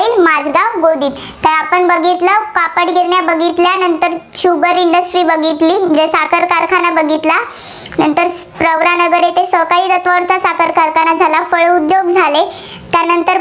गोदीत